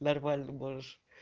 нормально можешь